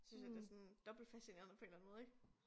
Synes jeg det sådan dobbeltfascinerende på en eller anden måde ik